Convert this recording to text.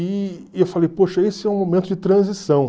E e eu falei, poxa, esse é um momento de transição.